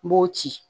N b'o ci